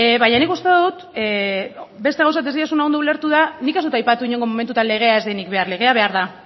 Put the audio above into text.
baina nik uste dut beste gauza bat ez didazuna ondo ulertu da nik ez dut aipatu inongo momentutan legea ez denik behar legea behar da